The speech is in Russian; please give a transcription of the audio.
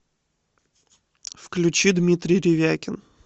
включи дмитрий ревякин